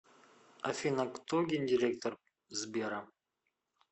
афина кто гендиректор сбера